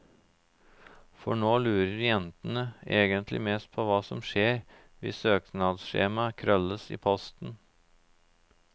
For nå lurer jentene egentlig mest på hva som skjer hvis søknadsskjemaet krølles i posten.